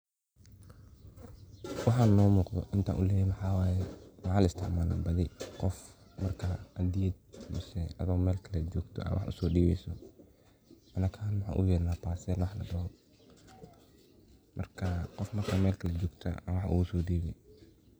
waxaan noo muqdo intan ognehe waxaa waye waxaa la isticmaala badi qof marki hadiyad misee aado mel kale jogto wax usoo dhibeyso, anaka ahan waxaan ogu yerna parcel waxa la dhoho markaa qof marka mel kale jpgto ad wax oguso dhibi